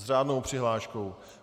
S řádnou přihláškou?